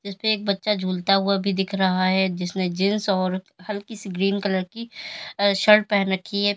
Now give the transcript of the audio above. जिस पे एक बच्चा झूलता हुआ भी दिख रहा है जिसमें जींस और हल्की सी ग्रीन कलर की शर्ट पहन रखी है।